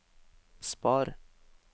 spar